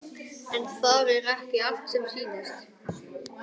En þar er ekki allt sem sýnist.